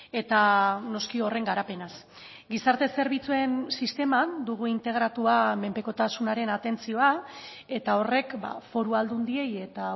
eta noski horren garapenaz gizarte zerbitzuen sisteman dugu integratua menpekotasunaren atentzioa eta horrek foru aldundiei eta